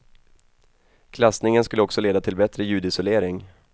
Klassningen skulle också leda till bättre ljudisolering.